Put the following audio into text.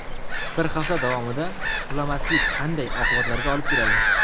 Bir hafta davomida uxlamaslik qanday oqibatlarga olib keladi?.